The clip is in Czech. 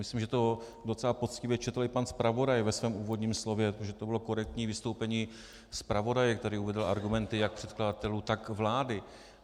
Myslím, že to docela poctivě četl i pan zpravodaj ve svém úvodním slově, protože to bylo korektní vystoupení zpravodaje, který uvedl argumenty jak předkladatelů, tak vlády.